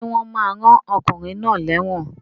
Sé wón ma rán okùnrin náà léwòn